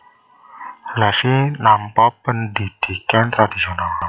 Levi nampa pendhidhikan tradhisional